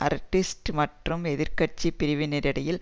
Aristide மற்றும் எதிர் கட்சி பிரிவினரிடையில்